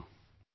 Yes sir